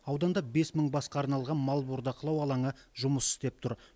ауданда бес мың басқа арналған мал бордақылау алаңы жұмыс істеп тұр